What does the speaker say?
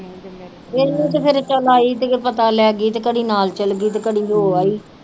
ਇਹਨੂੰ ਤੇ ਫਿਰ ਚੱਲ ਆਈ ਤੇ ਪਤਾ ਲੈ ਗਈ ਤੇ ਕਦੇ ਨਾਲ ਚਲੇ ਗਈ ਤੇ ਕਦੇ ਹੋ ਆਈ।